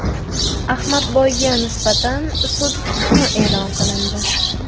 Ahmadboyga nisbatan sud hukmi e’lon qilindi.